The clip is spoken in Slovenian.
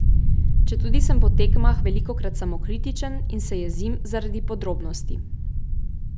Četudi sem po tekmah velikokrat samokritičen in se jezim zaradi podrobnosti.